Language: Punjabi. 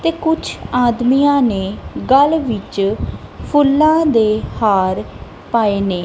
ਤੇ ਕੁਛ ਆਦਮੀਆਂ ਨੇ ਗੱਲ ਵਿੱਚ ਫੁੱਲ਼ਾਂ ਦੇ ਹਾਰ ਪਾਏ ਨੇ।